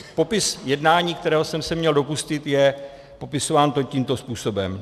Popis jednání, kterého jsem se měl dopustit, je popisován tímto způsobem: